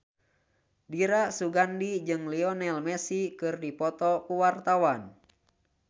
Dira Sugandi jeung Lionel Messi keur dipoto ku wartawan